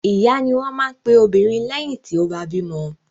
Ìyá ni wọ́n máa ń pe obìnrin lẹ́yìn tí ó bá bímọ.